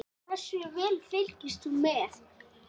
Hversu vel fylgdist þú með?